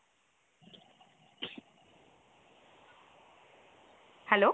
hello?